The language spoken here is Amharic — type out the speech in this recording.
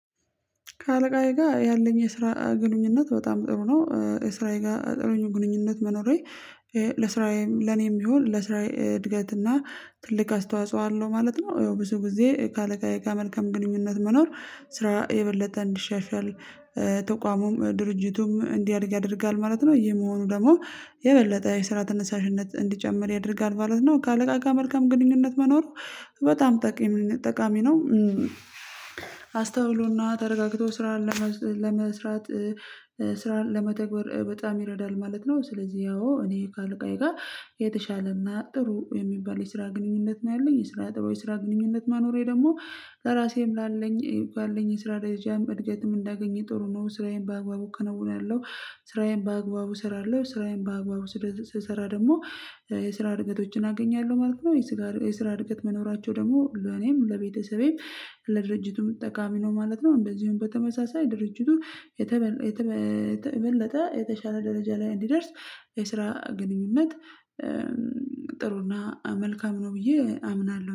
ከአለቃዬ ጋር ያለኝ የስራ ግንኙነት በጣም ጥሩ ነው። ስራዬ ጋር ጥሩ ግንኙነት መኖሬ ለስራዬም ለኔም ይሁን ለስራዬ እድገትና ትልቅ አስተዋጽኦ አለው ማለት ነው። ያው ብዙ ጊዜ ከአለቃየ ጋር መልካም ግንኙነት መኖር ስራ የበለጠ እንዲሻሻል ተቋሙም ድርጅቱም እንዲያድግ ያደርጋል ማለት ነው። ይሄ መሆኑ ደግሞ የበለጠ የስራ ተነሳሽነት እንዲጨምር ያደርጋል ማለት ነው። ከአለቃ ጋር መልካም ግንኙነት መኖሩ በጣም ጠቃሚ ነው። አስተውሎና ተረጋግቶ ስራ ለመስራት ስራን ለመተግበር በጣም ይረዳል ማለት ነው። ስለዚህ ያው እኔ ከአለቃዬ ጋር የተሻለና ጥሩ የሚባል የስራ ግንኙነት ነው ያለኝ የስራ ጥሩ የስራ ግንኙነት መኖሬ ደግሞ ለራሴም ላለኝ ላለኝ የስራ ደረጃም እድገትም እንዳገኘ ጥሩ ነው። ስራዬን በአግባቡ እከነውናለው ስራዬን በአግባቡ እሰራለሁ ስራዬን በአግባቡ ስሰራ ደግሞ የስራ እድገቶችን አገኛለሁ ማለት ነው። የስራ እድገት መኖራቸው ደግሞ ለኔም ለቤተሰቤም ለድርጅቱም ጠቃሚ ነው ማለት ነው። እንደዚሁም በተመሳሳይ ድርጅቱ የበለጠ የተሻለ ደረጃ ላይ እንዲደርስ የስራ ግንኙነት ጥሩና መልካም ነው ብዬ አምናለሁ